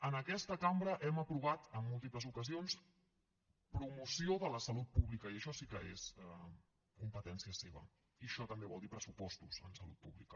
en aquesta cambra hem aprovat en múltiples ocasions promoció de la salut pública i això sí que és competència seva i això també vol dir pressupostos en salut pública